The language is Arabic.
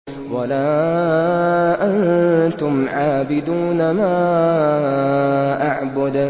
وَلَا أَنتُمْ عَابِدُونَ مَا أَعْبُدُ